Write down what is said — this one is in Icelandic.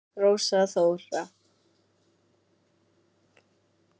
Rósa Þóra.